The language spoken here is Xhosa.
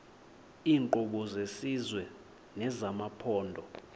iinkqubo zesizwe nezamaphondo